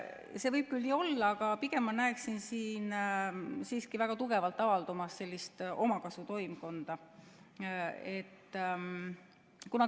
See võib küll nii olla, aga pigem ma näeksin siin siiski väga tugevalt avaldumas sellist omakasutoimkonda.